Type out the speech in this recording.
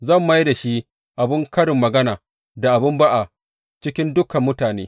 Zan mai da shi abin karin magana da abin ba’a cikin dukan mutane.